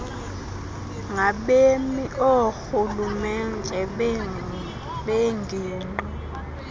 ngabemi oorhulumente bengingqi